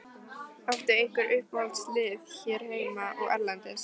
Áttu einhver uppáhaldslið hér heima og erlendis?